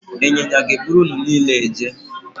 Ịnyịnya ga-eburu unu niile eje